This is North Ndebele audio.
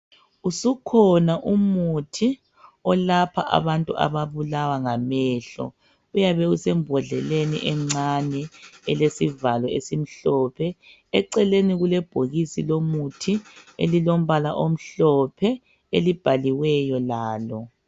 Usukhona umuthi olapha abantu ababulawa ngamehlo .Uyabe usembondleleni encane elesivalo esimhlophe .Eceleni kulebhokisi lomuthi elilombala omhlophe elibhaliweyo lalo